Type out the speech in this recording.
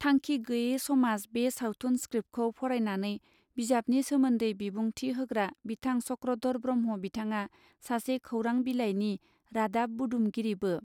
थांखि गैये समाज बे सावथुन स्क्रिप्तखौ फरायनानै बिजाबनि सोमोन्दै बिबुंथि होग्रा बिथां चक्रधर ब्रह्म बिथाङा सासे खौरां बिलायनि रादाब बुदुमगिरिबो.